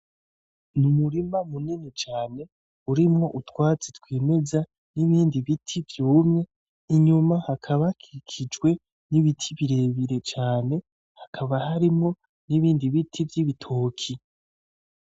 N'umurima munini cane urimwo utwatsi twimeza, n'ibindi biti vyumye inyuma hakaba hakikijwe n'ibiti birebire cane , hakaba harimwo n'ibindi biti vy'ibitoke.